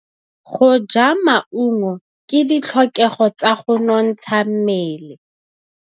Go ja maungo ke ditlhokegô tsa go nontsha mmele.